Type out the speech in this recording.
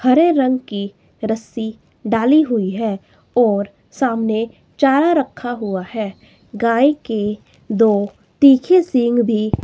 हरे रंग की रस्सी डाली हुई है और सामने चारा रखा हुआ है। गाय के दो तीखे सिंघ भी--